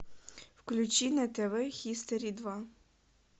включи на тв хистори два